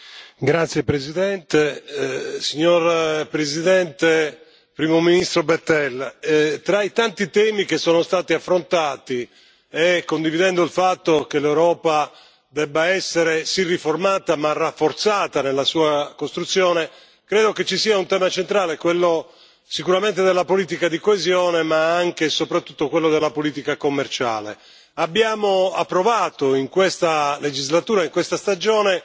Signor Presidente, onorevoli colleghi, Presidente Juncker, Primo ministro Bettel, tra i tanti temi che sono stati affrontati, e condividendo il fatto che l'Europa debba essere sì riformata, ma rafforzata nella sua costruzione, credo che ci sia un tema centrale, quello sicuramente della politica di coesione, ma anche e soprattutto quello della politica commerciale. Abbiamo approvato in questa legislatura, in questa stagione,